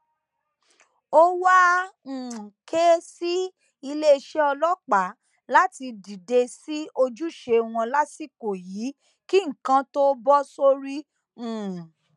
ó wàá um ké sí iléeṣẹ ọlọpàá láti dìde sí ojúṣe wọn lásìkò yìí kí nǹkan tóo bọ sórí um